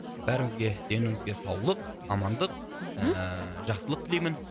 бәріңізге деніңізге саулық амандық мхм ыыы жақсылық тілеймін